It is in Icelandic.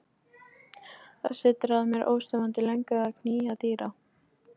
Það setur að mér óstöðvandi löngun að knýja dyra.